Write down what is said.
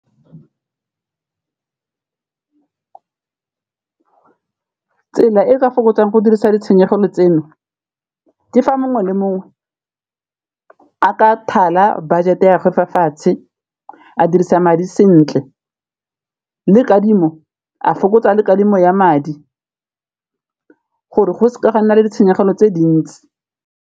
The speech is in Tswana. Tsela e ka fokotsang go dirisa ditshenyegelo tseno ke fa mongwe le mongwe a ka thala budget-e ya gagwe fa fatshe, a dirisa madi sentle le kadimo a fokotsa le kadimo ya madi gore go seka ga nna le ditshenyegelo tse dintsi.